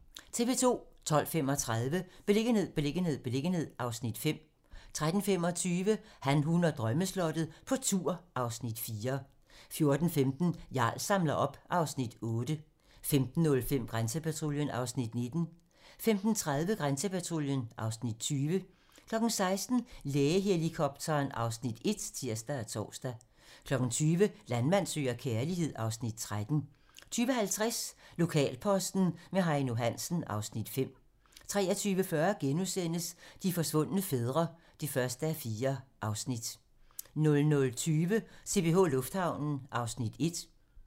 12:35: Beliggenhed, beliggenhed, beliggenhed (Afs. 5) 13:25: Han, hun og drømmeslottet - på tur (Afs. 4) 14:15: Jarl samler op (Afs. 8) 15:05: Grænsepatruljen (Afs. 19) 15:30: Grænsepatruljen (Afs. 20) 16:00: Lægehelikopteren (Afs. 1)(tir og tor) 20:00: Landmand søger kærlighed (Afs. 13) 20:50: Lokalposten med Heino Hansen (Afs. 5) 23:40: De forsvundne fædre (1:4)* 00:20: CPH Lufthavnen (Afs. 1)